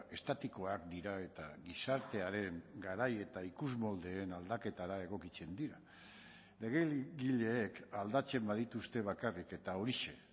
estatikoak dira eta gizartearen garai eta ikusmoldeen aldaketara egokitzen dira legeegileek aldatzen badituzte bakarrik eta horixe